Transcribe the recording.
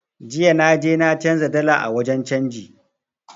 Jiya na je na canza dala a wajen canji